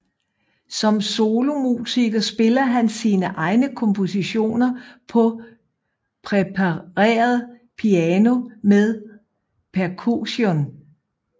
Som solomusiker spiller han sine egne kompositioner på prepareret piano med percussion